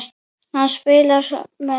Hann spilaði svo spaða.